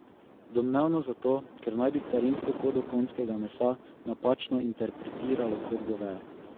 Domnevno zato, ker naj bi carinsko kodo konjskega mesa napačno interpretiralo kot goveje.